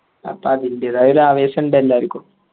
അപ്പൊ അതിൻറെതായ ഒരു ആവേശമുണ്ട് എല്ലാർക്കും